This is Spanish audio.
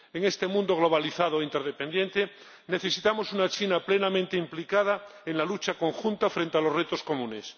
En este mundo globalizado e interdependiente, necesitamos una China plenamente implicada en la lucha conjunta frente a los retos comunes.